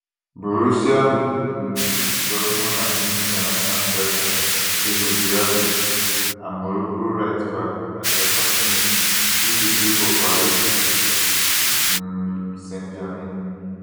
borussia um dortmund and guinea international striker serhou guirassy and morocco rightback achraf hakimi who dey play for paris um saintgermain